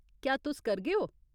क्या तुस करगे ओ?